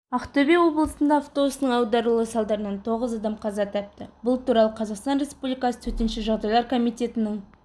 ақтөбе облысында автобустың аударылуы салдарынан тоғыз адам қаза тапты бұл туралы қазақстан республикасы төтенше жағдайлар комитетінің